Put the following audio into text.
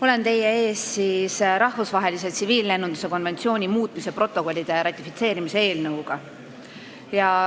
Olen teie ees rahvusvahelise tsiviillennunduse konventsiooni muutmise protokollide ratifitseerimise eelnõuga.